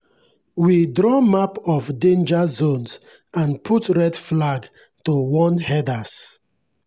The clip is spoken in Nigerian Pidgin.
we draw map of danger zones and put red flag to warn herders.